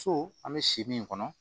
So an bɛ si min kɔnɔ